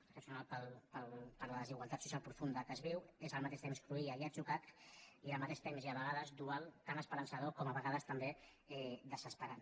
excepcional per la desigualtat social profunda que es viu és al mateix temps cruïlla i atzucac i al mateix temps i a vegades dual tan esperançador com a vegades també desesperant